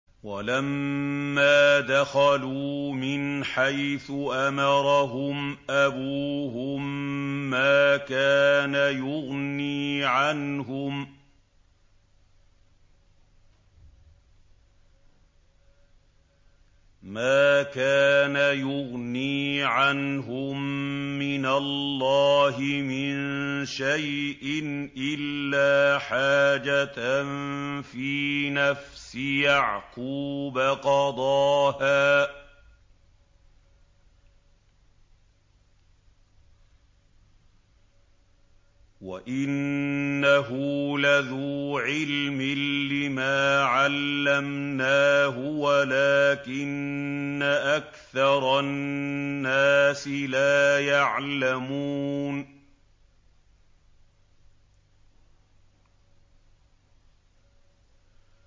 وَلَمَّا دَخَلُوا مِنْ حَيْثُ أَمَرَهُمْ أَبُوهُم مَّا كَانَ يُغْنِي عَنْهُم مِّنَ اللَّهِ مِن شَيْءٍ إِلَّا حَاجَةً فِي نَفْسِ يَعْقُوبَ قَضَاهَا ۚ وَإِنَّهُ لَذُو عِلْمٍ لِّمَا عَلَّمْنَاهُ وَلَٰكِنَّ أَكْثَرَ النَّاسِ لَا يَعْلَمُونَ